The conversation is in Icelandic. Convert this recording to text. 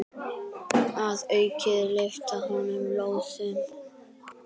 Að auki lyftir hann lóðum.